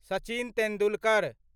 Sachin Tendulkar